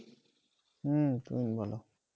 হম বল